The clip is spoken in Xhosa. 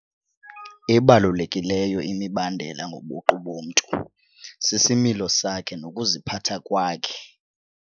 Ebalulekileyo imibandela ngobuqu bomntu sisimilo sakhe nokuziphatha kwakhe.